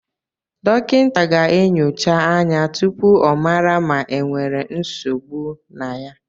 Dọkịta ga-enyocha anya tụpụ ọ mara ma e nwèrè nsogbụ na ya